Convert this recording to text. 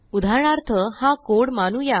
उदाहरणार्थ हा कोड मानूया